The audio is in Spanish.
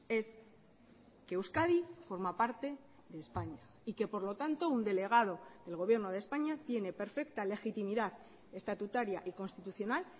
es que euskadi forma parte de españa y que por lo tanto un delegado del gobierno de españa tiene perfecta legitimidad estatutaria y constitucional